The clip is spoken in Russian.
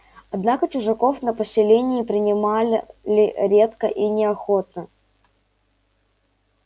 однако чужаков на поселение принимали редко и неохотно